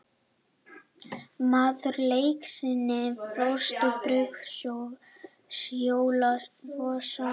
Maður leiksins: Frosti Brynjólfsson